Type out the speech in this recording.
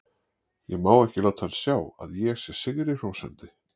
Ég má ekki láta hann sjá að ég sé sigri hrósandi.